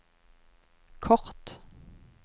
kort